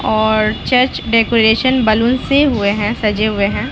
और church decoration balloon से हुए है सजे हुए है।